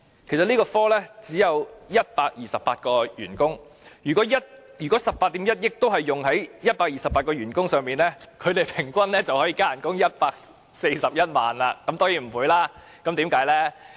這個科只有128名員工，如果18億 1,000 萬元全用在128名員工的薪酬調整，他們平均加薪141萬元，當然不會這樣，究竟是怎樣呢？